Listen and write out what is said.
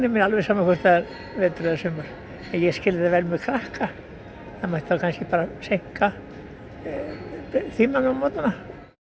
er alveg sama hvort það er vetur eða sumar en ég skil það vel með krakkana það mætti þá kannski bara seinka tímunum á morgnanna